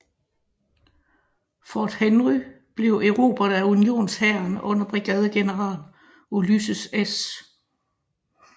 Fort Henry blev erobret af unionshæren under brigadegeneral Ulysses S